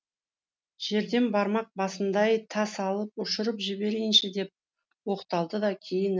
жерден бармақ басындай тас алып ұшырып жіберейінші деп оқталды да кейін